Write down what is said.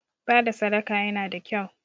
Bada sadaka yana da kyau